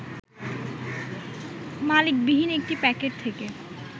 মালিকবিহীন একটি প্যাকেট থেকে